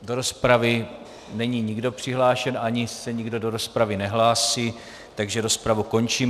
Do rozpravy není nikdo přihlášen ani se nikdo do rozpravy nehlásí, takže rozpravu končím.